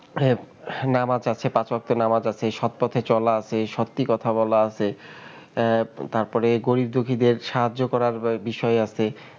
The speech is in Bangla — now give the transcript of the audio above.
হম নামাজ আছে পাঁচ বক্তের নামাজ আছে, এই সৎ পথে চলা আছে সত্যি কথা বলা আছে, আহ তারপরে গরিব দুখীদের সাহায্য করার বিষয় আছে.